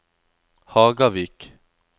Hagavik